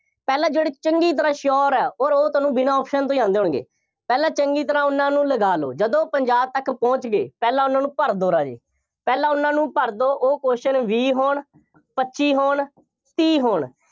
ਪਹਿਲਾ ਜਿਹੜੇ ਚੰਗੀ ਤਰ੍ਹਾਂ sure ਹੈ, ਪਰ ਉਹ ਤੁਹਾਨੂੰ ਬਿਨਾ option ਤੋਂ ਹੀ ਆਉਂਦੇ ਹੋਣਗੇ। ਪਹਿਲਾਂ ਚੰਗੀ ਤਰ੍ਹਾਂ ਉਹਨਾ ਨੂੰ ਲਗਾ ਲਓ। ਜਦੋਂ ਪੰਜਾਹ ਤੱਕ ਪਹੁੰਚ ਗਏ, ਪਹਿਲਾਂ ਉਹਨਾ ਨੂਂੰ ਭਰ ਦਿਓ ਰਾਜੇ, ਪਹਿਲਾਂ ਉਹਨਾ ਨੂੰ ਭਰ ਦਿਓ, ਉਹ question ਵੀਹ ਹੋਣ, ਪੱਚੀ ਹੋਣ, ਤੀਹ ਹੋਣ।